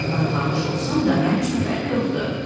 Mən varlanmış olsam da, mənim üçün fərqi yoxdur.